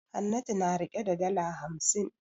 Hannatu na rike da dala hamsin.